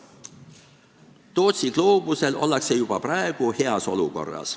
Tootsi gloobusel ollakse juba praegu heas olukorras.